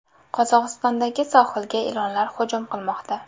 Qozog‘istondagi sohilga ilonlar hujum qilmoqda .